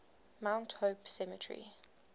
mount hope cemetery